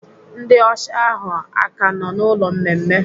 Ndị ọsha ahụ aka nọ n'ụlọ mmemme?